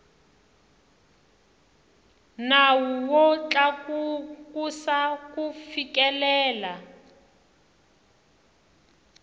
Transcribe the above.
nawu wo tlakusa ku fikelela